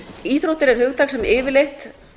íþróttir er hugtak sem yfirleitt